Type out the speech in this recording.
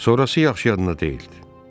Sonrası yaxşı yadında deyildi.